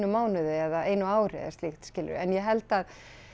mánuði eða einu ári eða eitthvað slíkt skilurðu en ég held að